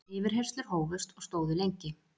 Yfirheyrslur hófust og stóðu lengi.